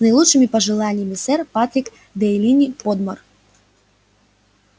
с наилучшими пожеланиями сэр патрик делэйни подмор